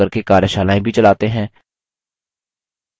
spoken tutorials का उपयोग करके कार्यशालाएँ भी चलाते हैं